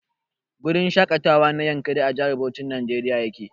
Gurin shaƙatawa na Yankari a Jihar Bauchin Nigeria yake.